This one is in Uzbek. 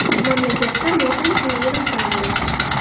Mamlakatda motam kuni e’lon qilindi.